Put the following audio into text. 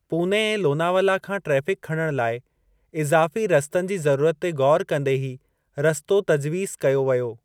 पूने ऐं लोनावला खां ट्रैफ़िक खणणु लाइ इज़ाफ़ी रस्तनि जी ज़रूरत ते ग़ौरु कंदे ही रस्तो तजवीज़ कयो वियो।